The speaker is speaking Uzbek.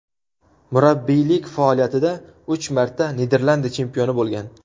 Murabbiylik faoliyatida uch marta Niderlandiya chempioni bo‘lgan.